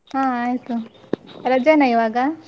ಹಾ ಆಯಿತು ರಜೆ ನ ಇವಾಗ?